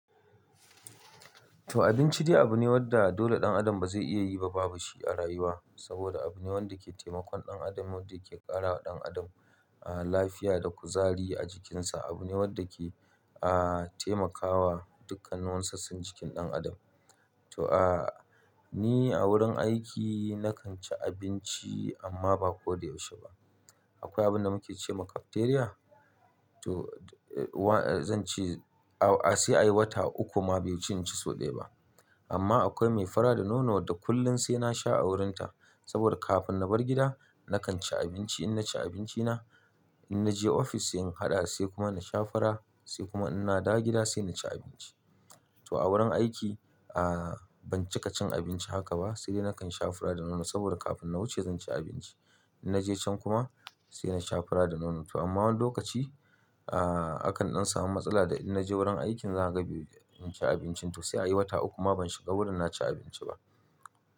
To abinci dai abu ne wanda dole ɗan adam ba zai iya yi ba babu shi a rayuwa. Saboda abu ne wanda ke taimakon ɗan adam, wanda yake ƙara wa ɗan adam, ah, lafiya da kuzari a jikinsa. Abu ne wanda ke, ah, taimakawa dukkan wani sassan jikin ɗan adam. To, ah, ni a wurin aiki na kan ci abinci amma ba ko da yaushe ba. Akwai abin da muke cewa cafeteria? To, eh, zan ce, ah, sai a yi wata uku ma bai wuci in ci sau ɗaya ba. Amma akwai mai fura da nono da kullum sai na sha a wurinta. Saboda kafin na bar gida na kan ci abinci in na ci abincina, in na je ofis sai in haɗa sai kuma na sha fura sai kuma in na dawo gida sai na ci abinci. To a wurin aiki, ah, ban cika cin abinci haka ba sai dai na kan sha fara da nono saboda kafin na wuce zan ci abinci. In na je can kuma sai na sha fara da nono. To amma wani lokaci, ah, hakan dan samu matsala da in na je wurin aikin za ga bai in ci abinci. To sai a yi wata uku ma ban shiga wurin na ci abinci ba.